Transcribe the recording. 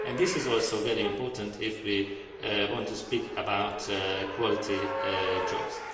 This is also very important if we want to speak about quality jobs.